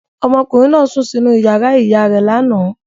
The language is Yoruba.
Ọmọkùnrin náà sùn sínú ìyàrá ìyá rẹ̀ lánàá.